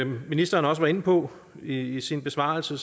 ministeren også var inde på i i sin besvarelse